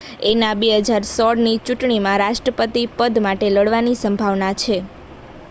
એના 2016 ની ચૂંટણીમાં રાષ્ટ્રપતિ પદ માટે લડવાની સંભાવના છે